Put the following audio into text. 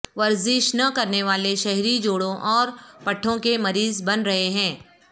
ورزش نہ کرنیوالے شہری جوڑوں اور پٹھوں کے مریض بن رہے ہیں